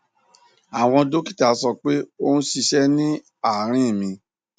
àwọn dókítà sọ pé ó ń ṣíṣe ní àárín mi